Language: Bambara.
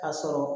Ka sɔrɔ